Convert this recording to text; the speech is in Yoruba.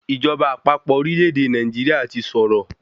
Ìjọba àpapọ̀ orílẹ̀-èdè Nàìjíríà ti sọ̀rọ̀.